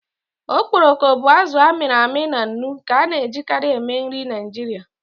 Okporoko bụ azụ a mịrị amị na nnu nke a na-ejikarị eme nri Naijiria.